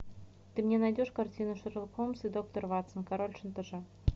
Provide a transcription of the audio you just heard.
ты мне найдешь картину шерлок холмс и доктор ватсон король шантажа